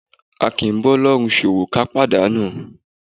A kì í bá Ọlọ́run ṣòwò ká pàdánù.